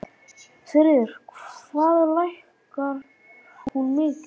Sigríður: Hvað lækkar hún mikið?